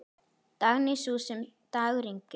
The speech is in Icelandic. Dagný, sú sem dagur yngir.